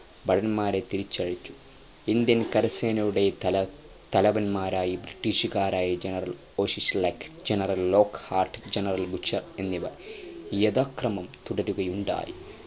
ഭടന്മാരെ തിരിച്ചയച്ചു Indian കരസേനയുടെ തല തലവൻമാരായി ബ്രിട്ടീഷുകാരായ general Auchinleck general Lockhart general Bucher എന്നിവർ യഥാക്രമം തുടരുകയുണ്ടായി